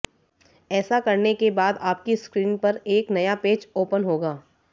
ऐसा करने का बाद आपकी स्क्रीन पर एक नया पेज ओपन होगा